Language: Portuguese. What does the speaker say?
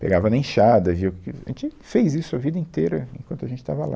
Pegava na enxada, e viu que, a gente fez isso a vida inteira enquanto a gente estava lá.